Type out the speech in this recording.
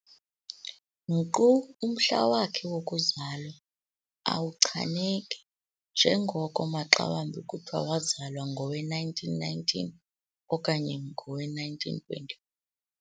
Nkqu umhla wakhe wokuzalwa awuchaneki njengoko maxawambi kuthiwa wazalwa ngowe-1919 okanye ngowe-1920.